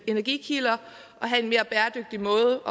energikilder og have en mere bæredygtig måde